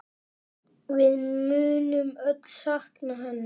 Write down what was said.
Við munum öll sakna hennar.